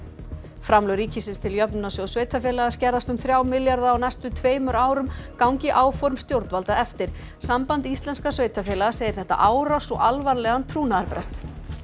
framlög ríkisins til Jöfnunarsjóðs sveitarfélaga skerðast um þrjá milljarða á næstu tveimur árum gangi áform stjórnvalda eftir samband íslenskra sveitarfélaga segir þetta árás og alvarlegan trúnaðarbrest